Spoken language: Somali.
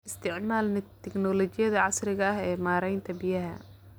Isticmaal tignoolajiyada casriga ah ee maaraynta biyaha.